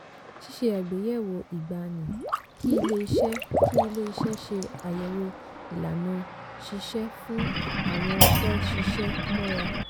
ṣíṣe àgbéyẹ̀wò ìgbani: kí ilé iṣẹ́ kí ilé iṣẹ́ ṣe àyẹ̀wò ìlànà ṣíṣẹ́ fún àwọn fẹ́ ṣiṣẹ́ mọ́ra.